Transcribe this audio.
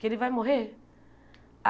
Que ele vai morrer?